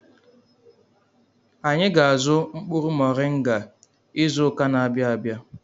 Anyị ga-azụ mkpụrụ moringa izụka n'abia abịa.